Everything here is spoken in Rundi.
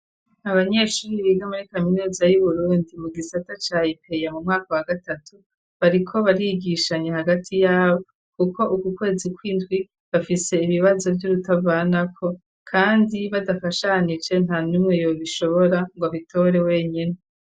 Abanyeshuri biga muri kaminuza yu Burundi mu gisata cayi ipeya mu mwaka wa gatatu, bariko barigishanye hagati yabo kuko uku kwezi kw'indwi bafise ibibazo vy'urutavanako kandi badafashanije nta numwe yobishobora ngo abitore wenyine.